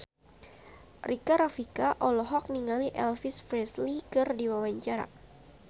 Rika Rafika olohok ningali Elvis Presley keur diwawancara